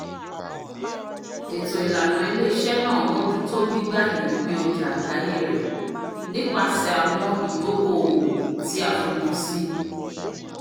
eto ilana ile-iṣẹ naa m'ojuto gbigb'aye ipin ọja agbaye rẹ nipasẹ awọn idoko-owo ti a fojusi